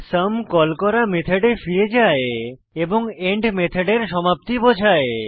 sum call করা মেথডে ফিরে যায় এবং এন্ড মেথডের সমাপ্তি বোঝায়